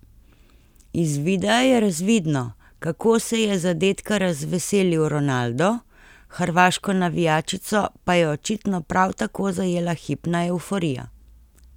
Iz videa je razvidno, kako se je zadetka razveselil Ronaldo, hrvaško navijačico pa je očitno prav tako zajela hipna evforija.